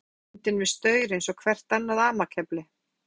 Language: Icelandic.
Ég sá hann fyrir mér, bundinn við staur eins og hvert annað amakefli.